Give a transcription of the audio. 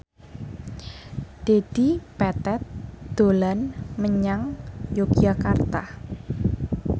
Dedi Petet dolan menyang Yogyakarta